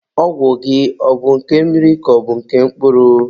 Ọgwụ gị ọ bụ nke mmiri ka ọ bụ nke mkpụrụ?